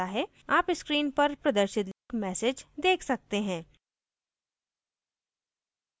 आप screen पर प्रदर्शित message देख सकते हैं